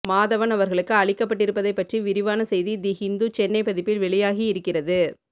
மாதவன் அவர்களுக்கு அளிக்கப்பட்டிருப்பதைப்பற்றி விரிவான செய்தி தி ஹிண்டு சென்னை பதிப்பில் வெளியாகியிருக்கிறது